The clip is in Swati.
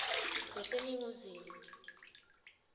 leseningizimu